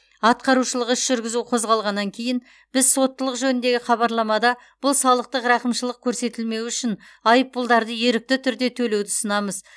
атқарушылық іс жүргізу қозғалғаннан кейін біз соттылық жөніндегі хабарламада бұл салықтық рақымшылық көрсетілмеуі үшін айыппұлдарды ерікті түрде төлеуді ұсынамыз